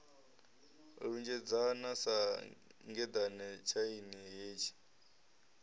lunzhedzana sa ngeḓane tshaini hetshi